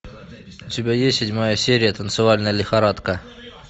у тебя есть седьмая серия танцевальная лихорадка